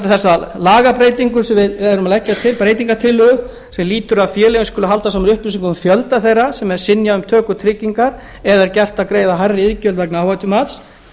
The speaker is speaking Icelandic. þessa lagabreytingu sem við leggjum til breytingartillögu sem lýtur að því að félögin skuli halda saman upplýsingum um fjölda þeirra sem er synjað um töku tryggingar eða er gert að greiða hærri iðgjöld vegna áhættumats